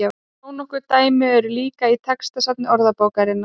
þó nokkur dæmi eru líka í textasafni orðabókarinnar